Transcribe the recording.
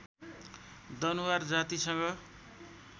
दनुवार जातिसँग